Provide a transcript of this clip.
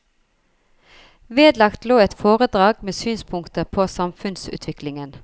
Vedlagt lå et foredrag med synspunkter på samfunnsutviklingen.